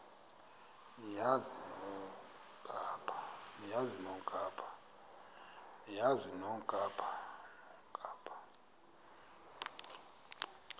niyazi nonk apha